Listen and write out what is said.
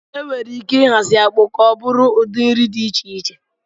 Enwere ike ịhazi akpu ka ọ bụrụ udi nri dị iche iche